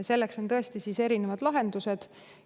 Selleks on erinevad lahendused.